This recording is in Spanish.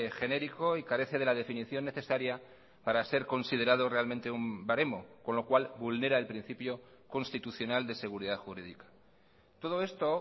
genérico y carece de la definición necesaria para ser considerado realmente un baremo con lo cual vulnera el principio constitucional de seguridad jurídica todo esto